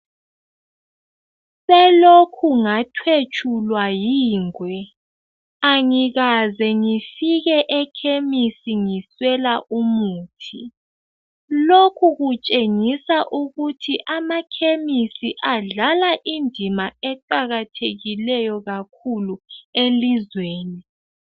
Selokhe ngathetshulwa yingwe , angikaze ngifike ekhemisi ngiswela umuthi , lokhu kutshengisa ukuthi amakhemisi adlala indima eqakathekileyo kakhulu elizweni